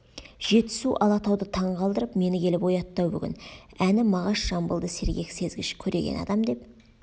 жетісу алатауды таң қалдырып мені келіп оятты-ау бүгін әні мағаш жамбылды сергек сезгіш көреген адам деп